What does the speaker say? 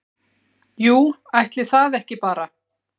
"""Jú, ætli það ekki bara!"""